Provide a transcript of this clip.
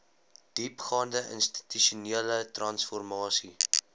diepgaande institusionele transformasie